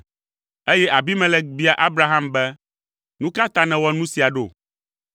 Eye Abimelek bia Abraham be, “Nu ka ta nèwɔ nu sia ɖo?”